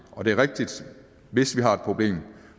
og det er rigtigt at hvis vi har et problem